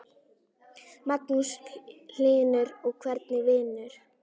Magnús Hlynur: Og hvernig vinur?